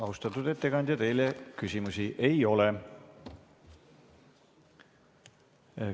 Austatud ettekandja, teile küsimusi ei ole.